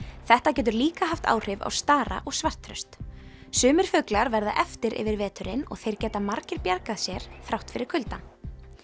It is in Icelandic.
þetta getur líka haft áhrif á stara og sumir fuglar verða eftir yfir veturinn og þeir geta margir bjargað sér þrátt fyrir kuldann